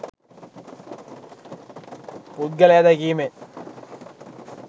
පුද්ගලයා දැකීමෙන්